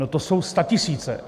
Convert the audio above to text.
No, to jsou statisíce.